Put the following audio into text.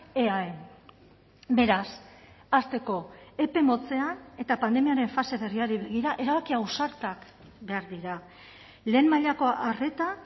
eaen beraz hasteko epe motzean eta pandemiaren fase berriari begira erabaki ausartak behar dira lehen mailako arreta